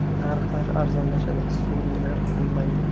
Narxlar arzonlashadi, sun’iy narx bo‘lmaydi.